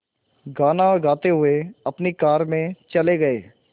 गाना गाते हुए अपनी कार में चले गए